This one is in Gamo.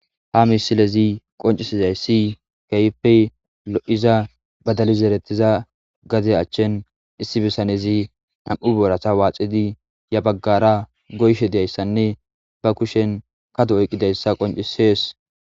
ha misilezi qoncisizay si keyppey lo7iza badalizeretiza gade achchen issi bisanezi nam7u boorata waaxidi ya baggara goyshe deyayssanne ba kushen kadu oyqqidayssa qoncisees